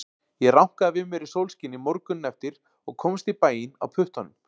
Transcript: Ég rankaði við mér í sólskini morguninn eftir og komst í bæinn á puttanum.